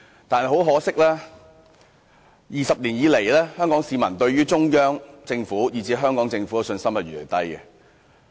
但是，很可惜 ，20 年來，香港市民對中央政府和香港政府的信心越來越低。